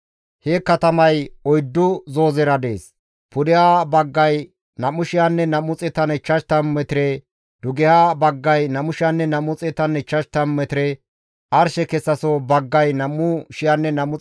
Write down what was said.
He katamay oyddu zoozera dees. Pudeha baggay 2,250 metire; dugeha baggay 2,250 metire; arshe kessaso baggay 2,250 metire; arshe geloso baggayka 2,250 metire.